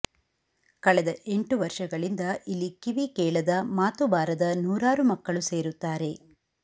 ಕಳೆದ ಎಂಟು ವರ್ಷಗಳಿಂದ ಇಲ್ಲಿ ಕಿವಿ ಕೇಳದ ಮಾತು ಬಾರದ ನೂರಾರು ಮಕ್ಕಳು ಸೇರುತ್ತಾರೆ